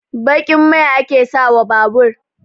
Baƙin mai ake sa wa babur